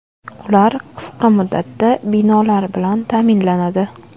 Ular qisqa muddatda binolar bilan ta’minlanadi.